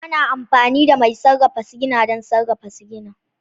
Ana amfani da mai sarrafa sigina don sarrafa sigina